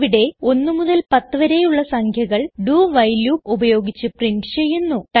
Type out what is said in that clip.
ഇവിടെ 1 മുതൽ 10 വരെയുള്ള സംഖ്യകൾ do വൈൽ ലൂപ്പ് ഉപയോഗിച്ച് പ്രിന്റ് ചെയ്യുന്നു